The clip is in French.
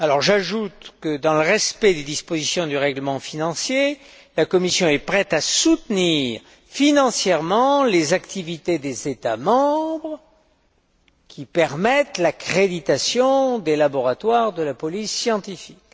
J'ajoute que, dans le respect des dispositions du règlement financier, la Commission est prête à soutenir financièrement les activités des États membres qui permettent l'accréditation des laboratoires de la police scientifique.